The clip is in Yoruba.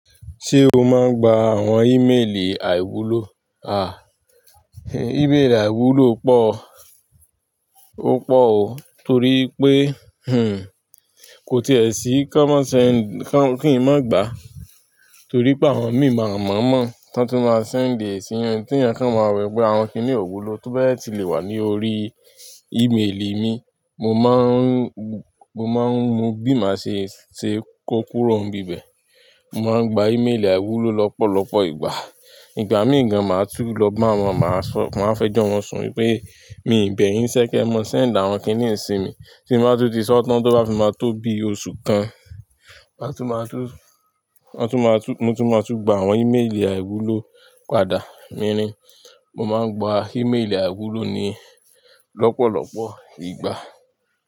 Ṣé o máa ń gba àwọn ìméèlì àìwúlò? À, ìbéèrè àìwúlò pọ̀, ó pọ̀ o torí pé, kò tí è sí kí wọ́n má ṣe kí ń má gba torí pé àwọn mi máa mọ̀ mọ̀ tán tún máa send ẹ sì yan tí ènìyàn kan máa rò wípé àwọn kíní òwúlò tó bẹ́ẹ̀ ti le wà ní orí ìméèlì mi. Mo má ń mọ má ń wo bí mà ṣe ṣe kó kúrò ń bi ibè. Mo máa ń gba ìméèlì àìwúlò lọ́pọ̀lọpọ̀ ìgbà. Ìgbà míì gan, màá tún lọ bá wọn, màá sọ, màá fẹ́ jọ́ wọn sún pé mi ò bẹ yín'ṣé kí ẹ mọ sẹ́ǹdà àwọn kíní simi. Tí ń bá tún ti sọ́ tán tó bá fi máa tó bi oṣù kan, màá tún máa tún, wọ́n tún máa tún, mo tún máa tún gba àwọn ìméèlì àìwúlò padà. Mírìn, mo máa ń gba ìméèlì àìwúlò ni lọ́pọ̀lọpọ̀ ìgbà.